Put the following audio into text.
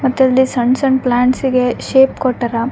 ಮತ್ತೆ ಇಲ್ಲಿ ಸಣ್ಣ್ ಸಣ್ಣ್ ಪ್ಲಾಂಟ್ಸ್ ಇಗೆ ಶೇಪ್ ಕೊಟ್ಟರ --